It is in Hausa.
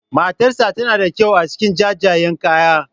Matarsa tana da kyau a cikin jajayen kaya.